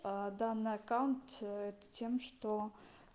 а данный аккаунт тем что